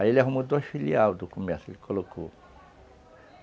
Aí ele arrumou dois filial do comércio, ele colocou.